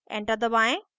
enter दबाएं